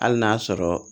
Hali n'a sɔrɔ